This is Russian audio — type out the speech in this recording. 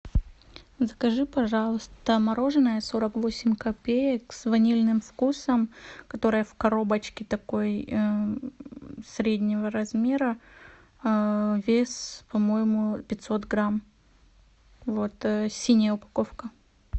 закажи пожалуйста мороженое сорок восемь копеек с ванильным вкусом которое в коробочке такой среднего размера вес по моему пятьсот грамм вот синяя упаковка